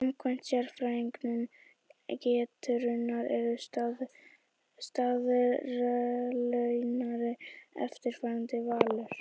Samkvæmt sérfræðingum Getrauna eru stuðlarnir eftirfarandi: Valur